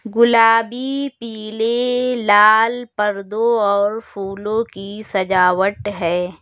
गुलाबी पीले लाल पर्दो और फूलों की सजावट है।